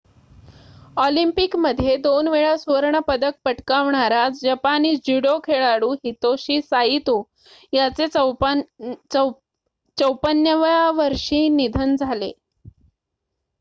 ऑलिम्पिकमध्ये दोनवेळा सुवर्ण पदक पटकावणारा जपानी ज्युडो खेळाडू हितोशी साइतो याचे ५४ व्या वर्षी निधन झाले